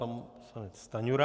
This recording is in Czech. Pan poslanec Stanjura.